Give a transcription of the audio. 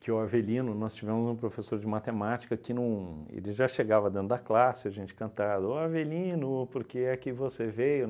que o Avelino, nós tivemos um professor de matemática que não... ele já chegava dentro da classe, a gente cantava, ó Avelino, por que é que você veio?